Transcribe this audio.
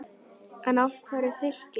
En af hverju Fylkir?